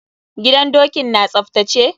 Gidan dokin na tsaftace?